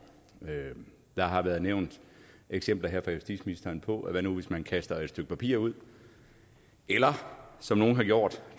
der har været nævnt eksempler her fra justitsministeren på at hvad nu hvis man kaster et stykke papir ud eller som nogle har gjort